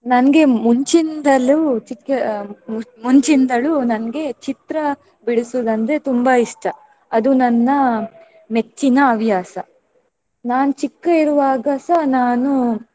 ನನ್ಗೆ ಮುಂಚಿನಿಂದಲೂ ಚಿಕ್ಕ ಮುಂಚಿಂದಲೂ ನನ್ಗೆ ಚಿತ್ರ ಬಿಡಿಸುವುದಂದ್ರೆ ತುಂಬಾ ಇಷ್ಟ. ಅದು ನನ್ನ ಮೆಚ್ಚಿನ ಹವ್ಯಾಸ. ನಾನು ಚಿಕ್ಕ ಇರುವಾಗಸ ನಾನು.